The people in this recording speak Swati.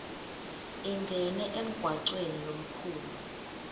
ingene emgwacweni lomkhulu